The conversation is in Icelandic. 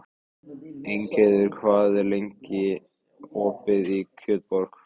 Ingheiður, hvað er lengi opið í Kjötborg?